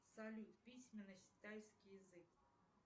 салют письменность тайский язык